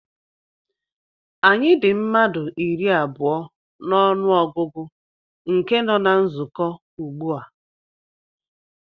Anyị dị mmadụ iri abụọ na ọnụ ọgụgụ nke nọ na nzukọ ugbu a